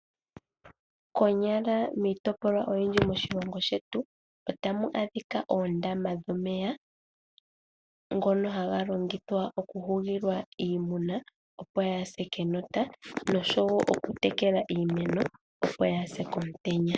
Konyala miitopolwa oyindji moshilongo shetu otamu adhikwa oondama dhomeya ngono haga longithwa oku hugilwa iimuna opo yaase kenota noshowo okutekela iimeno opo yaase komutenya.